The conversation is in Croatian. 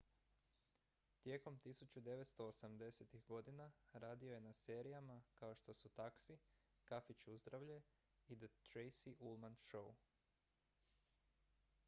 tijekom 1980-ih godina radio je na serijama kao što su taxi kafić uzdravlje i the tracy ullman show